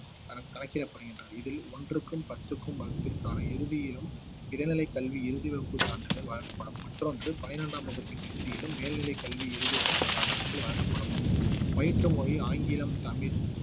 கணக்~ கணக்கிடப்படுகின்றது இதில் ஒன்றுக்கும் பத்துக்கும் வகுப்பிற்கான இறுதியிலும் இடைநிலை கல்வி இறுதி வகுப்பு சான்றிதழ் வழங்கப்படும் மற்றொன்று பன்னிரண்டாம் வகுப்பின் இறுதியிலும் மேல்நிலை கல்வி இறுதி வகுப்பு சான்றிதழ் வழங்கப்படும் பயிற்று மொழி ஆங்கிலம் தமிழ்